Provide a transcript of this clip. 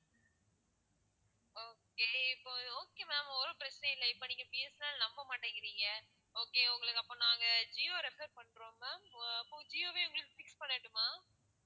okay இப்போ ஒரு okay ma'am ஒரு பிரச்சினையும் இல்ல இப்போ நீங்க பி. எஸ். என். எல் நம்பமாட்டீங்க நீங்க okay உங்களுக்கு அப்போ நாங்க ஜியோ refer பண்றோம் ma'am அப்போ ஜியோவே உங்களுக்கு fix பண்ணட்டுமா?